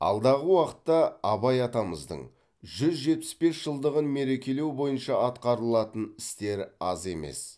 алдағы уақытта абай атамыздың жүз жетпіс бес жылдығын мерекелеу бойынша атқарылатын істер аз емес